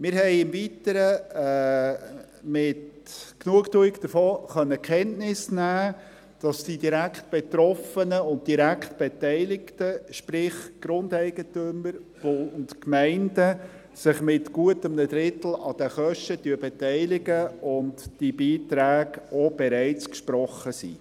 Wir konnten im Weiteren mit Genugtuung davon Kenntnis nehmen, dass die Direktbetroffenen und die Direktbeteiligten, sprich die Grundeigentümer und die Gemeinden, sich mit gut einem Drittel an den Kosten beteiligen und die Beiträge auch bereits schon gesprochen wurden.